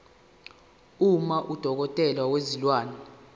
uma udokotela wezilwane